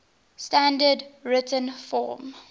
standard written form